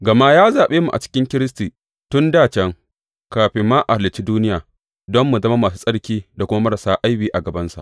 Gama ya zaɓe mu a cikin Kiristi tun dā can, kafin ma a halicci duniya don mu zama masu tsarki da kuma marasa aibi a gabansa.